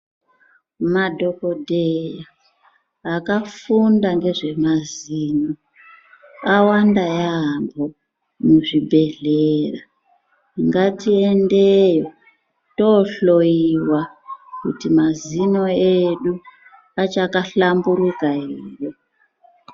Madhogodheya akafunda ngezvemazino, awanda yaamho muzvi bhedhlera, ngatiende kuchibhedhlera tohloyiwa, kuti mazino edu achaka hlamburuka ere.